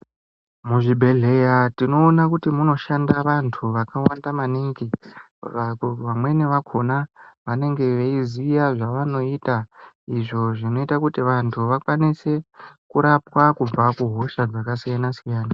Muzvibhedhleya tinoona kuti munoshandira vantu vakawanda maningi .Vamweni vakona vanenge veiziya zvevanoita izvo zvinoita kuti vantu vakwanise kurapwa kubva kuhosha dzakasiyana siyana.